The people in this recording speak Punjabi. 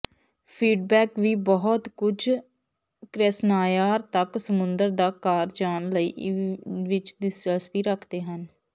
ਫੀਡਬੈਕ ਵੀ ਬਹੁਤ ਕੁਝ ਕ੍ਰੈਸ੍ਨਾਯਾਰ ਤੱਕ ਸਮੁੰਦਰ ਦਾ ਕਾਰ ਜਾਣ ਲਈ ਵਿੱਚ ਦਿਲਚਸਪੀ ਰੱਖਦੇ ਹਨ